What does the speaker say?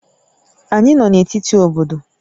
Anyị nọ na etiti obodo